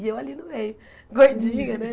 E eu ali no meio, gordinha, né?